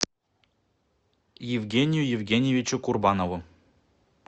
евгению евгеньевичу курбанову